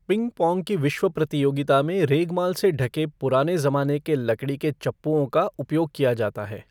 Ping pong की विश्व प्रतियोगिता में रेगमाल से ढके पुराने ज़माने के लकड़ी के चप्पूओं का उपयोग किया जाता है।